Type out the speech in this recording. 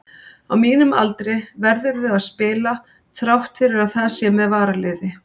Á mínum aldri verðurðu að spila, þrátt fyrir að það sé með varaliði.